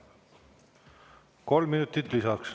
Kolm minutit lisaks.